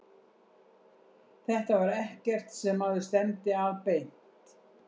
Þetta var ekkert sem maður stefndi að beint.